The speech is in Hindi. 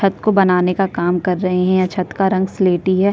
छत को बनाने का काम कर रहे है। छत का रंग सिलिटी है।